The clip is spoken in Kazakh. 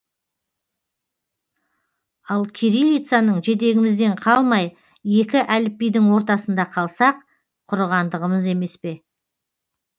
ал кириллицаның жетегімізден қалмай екі әліпбидің ортасында қалсақ құрығандығымыз емес пе